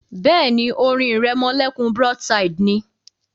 Bẹ́ẹ̀ni, orin ìrẹmọlẹ́kún broadside ni